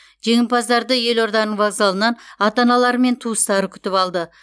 жеңімпаздарды елорданың воказалынан ата аналары мен туыстары күтіп алды